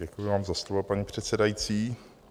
Děkuji vám za slovo, paní předsedající.